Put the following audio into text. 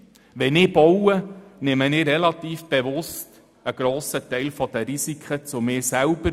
Wenn ich baue, nehme ich relativ bewusst einen grossen Teil der kalkulierbaren Risiken auf mich selber.